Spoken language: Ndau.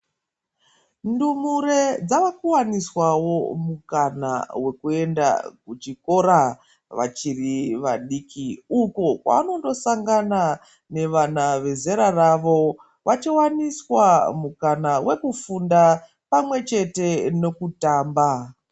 Ndumure dzakuwaniswawo mukana wekuenda kuchikora vachiri vadiki uko kwavanondosangana nevana vezera ravo vachiwaniswa mukana wekufunda pamwechete nekutamba.